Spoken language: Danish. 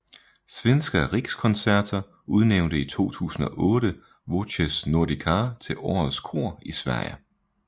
Svenska Rikskonserter udnævnte i 2008 Voces Nordicae til årets kor i Sverige